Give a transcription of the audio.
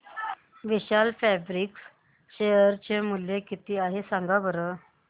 विशाल fabrics share चे मूल्य किती आहे सांगा बरं